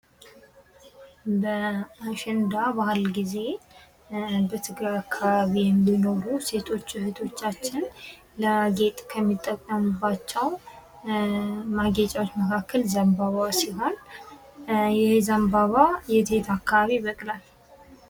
በአሸንዳ በአል ጊዜ በትግራይ አካባቢ የሚኖሩ ሴቶች እህቶቻችን ለጌጥ ከሚጠቀሙባቸው ማጌጫወች መካከል ዘንባባ ሲሆን ይሄ ዘንባባ የት የት አካባቢ ይበቅላል?